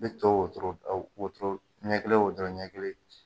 Ne to wotoro wotoro ɲɛkelen o dɔrɔn ɲɛkelen.